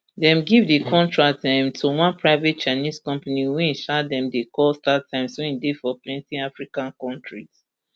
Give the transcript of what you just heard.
dem give di contract um to one private chinese company wey um dem dey call startimes wey dey for plenti african kontris